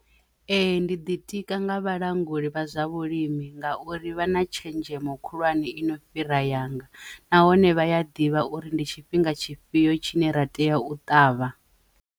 Ee, ndi ḓitika nga vhalanguli vha zwa vhulimi ngauri vha na tshenzhemo khulwane i no fhira yanga nahone vhaya ḓivha uri ndi tshifhinga tshifhio tshine ra tea u ṱavha.